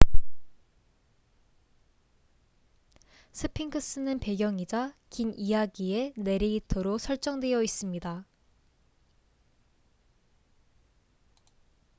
스핑크스는 배경이자 긴 이야기의 내레이터로 설정되어 있습니다